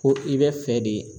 Ko i be fɛ de